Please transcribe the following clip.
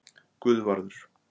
Guðvarður